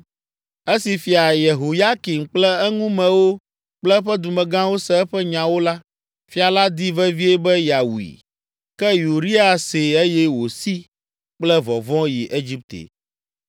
Esi Fia Yehoyakim kple eŋumewo kple eƒe dumegãwo se eƒe nyawo la, fia la di vevie be yeawui, Ke Uria see eye wòsi kple vɔvɔ̃ yi Egipte.